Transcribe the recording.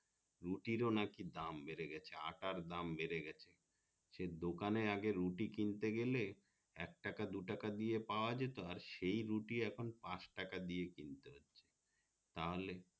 রুটির ও নাকি দাম বেড়ে গেছে আটার দাম বেড়ে গেছে সেই দোকানে আগে রুটি কিনতে গেলে একটাকা দু টাকা দিয়ে পাওয়া যেত আর সেই রুটি এখন পাঁচ টাকা দিয়ে কিন্তে হচ্ছে তাহলে